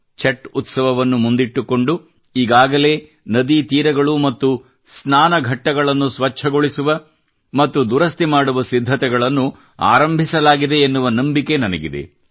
ಛಟ್ ಉತ್ಸವವನ್ನು ಮುಂದಿಟ್ಟುಕೊಂಡು ಈಗಾಗಲೇ ನದೀ ತೀರಗಳು ಮತ್ತು ಸ್ನಾನ ಘಟ್ಟಗಳನ್ನು ಸ್ವಚ್ಛಗೊಳಿಸುವ ಮತ್ತು ದುರಸ್ತಿ ಮಾಡುವ ಸಿದ್ಧತೆಗಳನ್ನು ಆರಂಭಿಸಲಾಗಿದೆ ಎನ್ನುವ ನಂಬಿಕೆ ನನಗಿದೆ